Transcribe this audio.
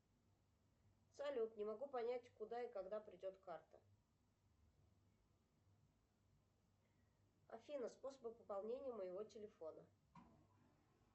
салют не могу понять куда и когда придет карта афина способы пополнения моего телефона